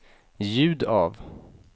ljud av